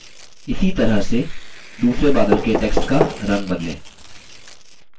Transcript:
इसी तरह से दूसरे बादल के text का in बदलें